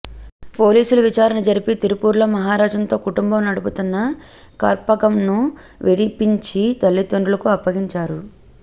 పోలీసులు విచారణ జరిపి తిరుపూర్లో మహరాజన్తో కుటుంబం నడుపుతున్న కర్పగంను విడిపించి తల్లిదండ్రులకు అప్పగించారు